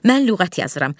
Mən lüğət yazıram.